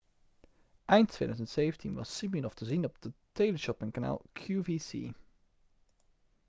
eind 2017 was siminoff te zien op teleshoppingkanaal qvc